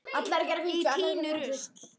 Ég tíni rusl.